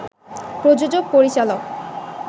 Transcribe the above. প্রযোজক, পরিচালক